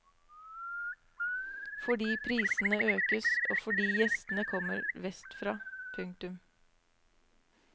Fordi prisene økes og fordi gjestene kommer vestfra. punktum